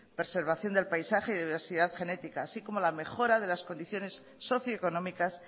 preservación del paisaje y diversidad genética así como la mejora de las condiciones socio económicas